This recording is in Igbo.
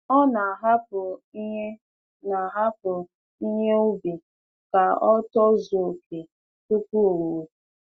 Ọ na-ahapụ ihe na-ahapụ ihe ubi ka o tozuo oke tupu owuwe.